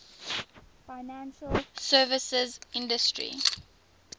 financial services industry